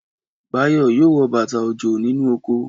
Báyọ̀ yóò wọ bàtà òjò nínú oko